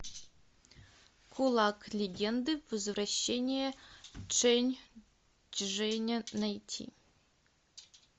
кулак легенды возвращение чэнь чжэня найти